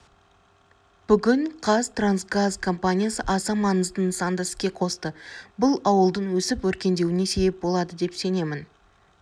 бүгін қазтрансгаз компаниясы аса маңызды нысанды іске қосты бұл ауылдың өсіп-өркендеуіне себеп болады деп сенемін